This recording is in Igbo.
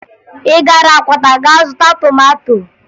Ị gara Akwata ga zụta tomato?